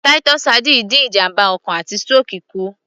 Titus sardines dín ìjàmbá ọkàn àti stroke kù